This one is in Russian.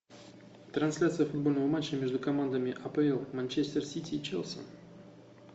трансляция футбольного матча между командами апл манчестер сити и челси